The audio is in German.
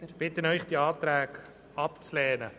Ich bitte den Rat, die Anträge abzulehnen.